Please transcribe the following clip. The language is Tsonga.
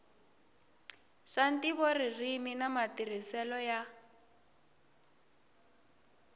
swa ntivoririmi na matirhiselo ya